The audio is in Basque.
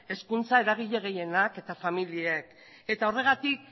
hezkuntza eragile gehienak eta familiek eta horregatik